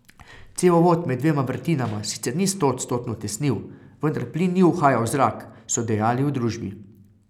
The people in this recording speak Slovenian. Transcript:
Cevovod med dvema vrtinama sicer ni stoodstotno tesnil, vendar plin ni uhajal v zrak, so dejali v družbi.